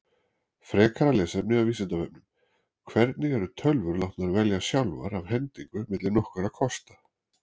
Frekara lesefni af Vísindavefnum: Hvernig eru tölvur látnar velja sjálfar af hendingu milli nokkurra kosta?